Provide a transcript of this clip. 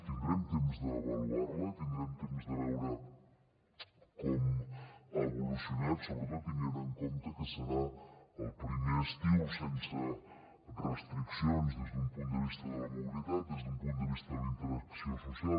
tindrem temps d’avaluar la tindrem temps de veure com ha evolucionat sobretot tenint en compte que serà el primer estiu sense restriccions des d’un punt de vista de la mobilitat des d’un punt de vista de la interacció social